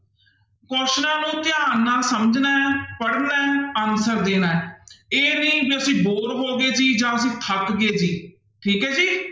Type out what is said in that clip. ਕੁਆਸਚਨਾਂ ਨੂੰ ਧਿਆਨ ਨਾਲ ਸਮਝਣਾ ਹੈ ਪੜ੍ਹਨਾ ਹੈ answer ਦੇਣਾ ਹੈ, ਇਹ ਨੀ ਵੀ ਅਸੀ bore ਹੋ ਗਏ ਸੀ ਜਾਂ ਫਿਰ ਥੱਕ ਗਏ ਸੀ ਠੀਕ ਹੈ ਜੀ।